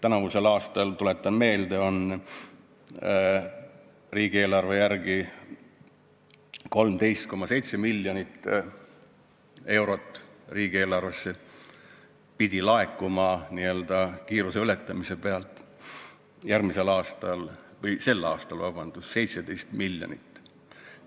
Eelmisel aastal, tuletan meelde, pidi 13,7 miljonit eurot riigieelarvesse laekuma n-ö kiiruse ületamise pealt, sel aastal peaks laekuma 17 miljonit.